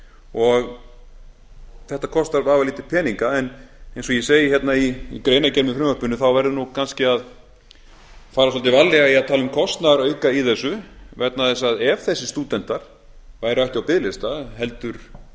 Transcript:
og þetta kostar vafalítið peninga en eins og ég segi í greinargerð með frumvarpinu verður kannski að fara svolítið varlega í að tala um kostnaðarauka í þessu vegna þess að ef þessir stúdentar væru ekki á biðlista heldur